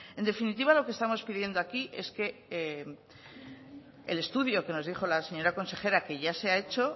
en definitiva lo que estamos pidiendo aquí es que el estudio que nos dijo la señora consejera que ya se ha hecho